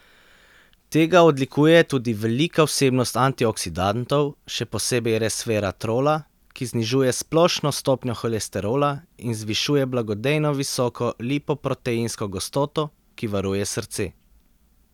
Tega odlikuje tudi velika vsebnost antioksidantov, še posebej resveratrola, ki znižuje splošno stopnjo holesterola in zvišuje blagodejno visoko lipoproteinsko gostoto, ki varuje srce.